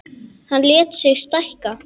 Hann lét sig stækka.